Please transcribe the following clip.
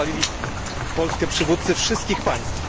Chwalili Polskę przywódcy wszystkich państw.